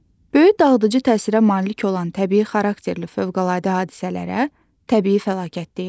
Böyük dağıdıcı təsirə malik olan təbii xarakterli fövqəladə hadisələrə təbii fəlakət deyilir.